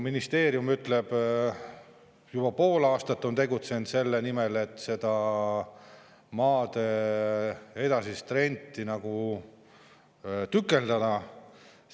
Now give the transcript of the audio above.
Ministeerium ütleb, et juba pool aastat on tegutsetud selle nimel, et seda maad edasiseks rendiks tükeldada.